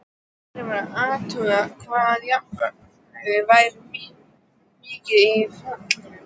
Verið var að athuga hvað járnmagnið væri mikið í fjallinu.